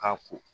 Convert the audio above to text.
Ka ko